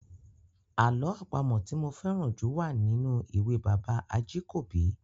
Àlọ́ àpamọ̀ tí mo fẹ́ràn jù wà nínú ìwé bàbá Ajíkòbí.